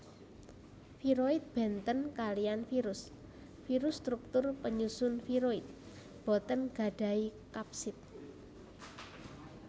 Viroid bèntén kaliyan virus virus struktur penyusun viroid boten gadahi kapsid